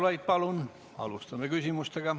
Raimond Kaljulaid, palun!